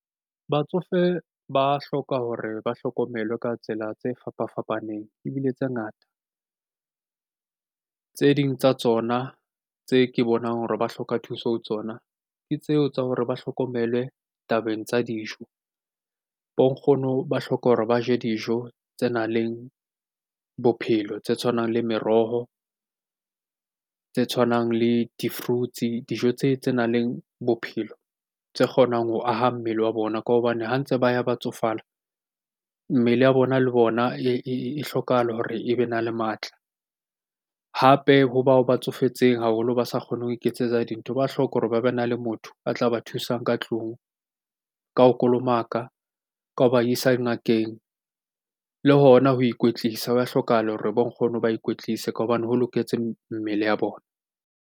Batsofe ba hloka hore ba hlokomelwe ka tsela tse fapa-fapaneng ebile tse ngata. Tse ding tsa tsona tse ke bonang hore ba hloka thuso ho tsona ke tseo tsa hore ba hlokomelwe tabeng tsa dijo. Bo nkgono ba hloka hore ba je dijo tse nang le bophelo, tse tshwanang le meroho, tse tshwanang le di-fruits-e, dijo tse tse nang le bophelo, tse kgonang ho aha mmele wa bona. Ka hobane ha ntse ba ya ba tsofala, mmele ya bona le bona e hlokahala hore e be na le matla. Hape ho bao ba tsofetseng haholo ba sa kgoneng ho iketsetsa dintho ba hloka hore ba be na le motho a tla ba thusang ka ka teng tlung. Ka ho kolomaka, ka ho ba isa ngakeng le hona ho ikwetlisa. Hwa hlokahala hore bo nkgono ba ikwetlise ka hobane ho loketse mmele ya bona.